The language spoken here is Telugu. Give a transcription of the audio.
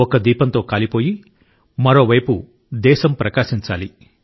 ఒక్క దీపంతో కాలిపోయి మరోవైపు దేశం ప్రకాశించాలి